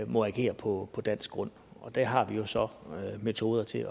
må agere på dansk grund og det har vi jo så metoder til